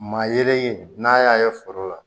Maa yeelen n'a y'a ye foro la